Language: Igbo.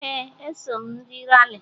Ee, eso m ndị Rali